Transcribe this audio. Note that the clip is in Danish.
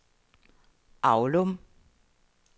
Aulum